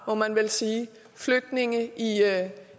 må man vel sige flygtninge i